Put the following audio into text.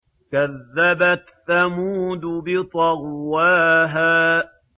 كَذَّبَتْ ثَمُودُ بِطَغْوَاهَا